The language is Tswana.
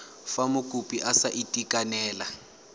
fa mokopi a sa itekanela